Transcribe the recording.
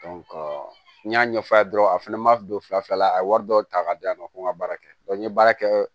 n y'a ɲɛfɔ a ye dɔrɔn a fana ma don fila fila la a ye wari dɔw ta k'a di yan nɔ ko n ka baara kɛ n ye baara kɛ